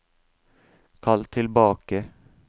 kall tilbake